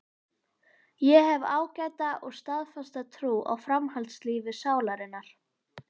Ég hef ágæta og staðfasta trú á framhaldslífi sálarinnar.